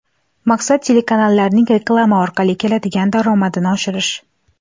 Maqsad – telekanallarning reklama orqali keladigan daromadini oshirish.